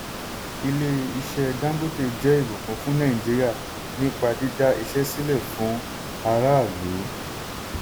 ilé-iṣẹ́ dangote jẹ́ ìbùkún fún nàìjíríà nípa dídá iṣẹ́ sílẹ̀ fún ará ìlú.